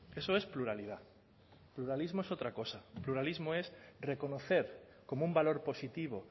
eso es pluralidad pluralismo es otra cosa pluralismo es reconocer como un valor positivo